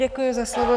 Děkuji za slovo.